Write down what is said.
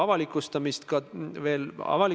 Auväärt peaminister!